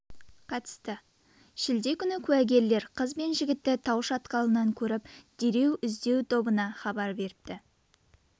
қатысты шілде күні куәгерлер қыз бен жігітті тау шатқалынан көріп дереу іздеу тобына хабар беріпті